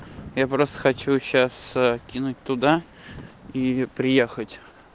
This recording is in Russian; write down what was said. я просто хочу сейчас кинуть туда и приехать